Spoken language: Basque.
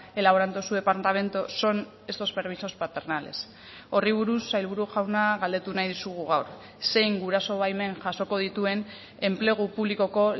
elaborando su departamento son estos permisos paternales horri buruz sailburu jauna galdetu nahi dizugu gaur zein guraso baimen jasoko dituen enplegu publikoko